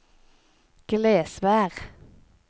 Glesvær